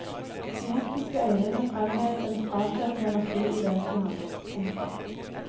De hektiske øynene framhevet en frastøtende energi i vesenet hans. punktum